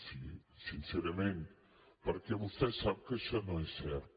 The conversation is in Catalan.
sí sincerament perquè vostè sap que això no és cert